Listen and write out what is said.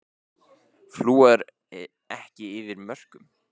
Flúor ekki yfir mörkum